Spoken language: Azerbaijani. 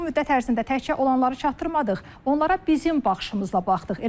Bu müddət ərzində təkcə olanları çatdırmadıq, onlara bizim baxışımızla baxdıq.